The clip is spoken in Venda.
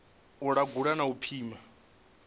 u langula na u pima